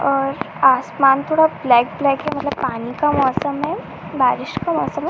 और आसमान थोड़ा ब्लैक ब्लैक हैं मतलब पानी का मौसम है बारिश का मौसम है।